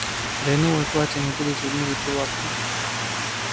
да и новые платья не будут видны за прилавком